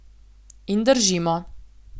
In držimo.